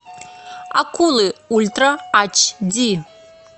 акулы ультра ач ди